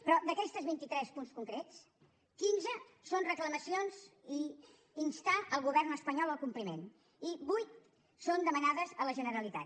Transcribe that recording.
però d’aquests vint i tres punts concrets quinze són reclamacions per instar ne el govern espanyol al compliment i vuit són demanades a la generalitat